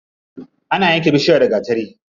Ana yanke bishiya da gatari.